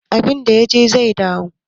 Abinda ya je zai dawo